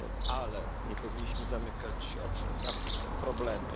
Ale nie powinniśmy zamykać oczu na problemy.